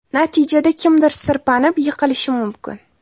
Natijada kimdir sirpanib, yiqilishi mumkin.